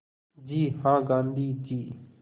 जी हाँ गाँधी जी